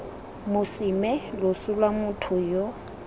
mosime loso lwa motho yo